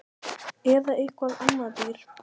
Eða eitthvað annað dýr